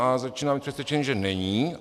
A začínám být přesvědčený, že není.